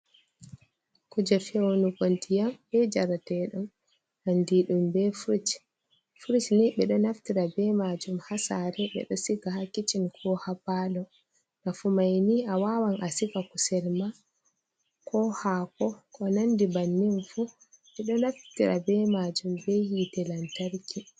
Kuje feunuki ndyam be jarateɗam andira ɗum be frich frich ni ɓedo naftira be majum ha sare ɓeɗo siga ha kicin ko ha palo, nafu mai ni a wawan a siga kusel ma ko hako ko nandi bannin fu ɓeɗo naftira be majum be hitte lantarki.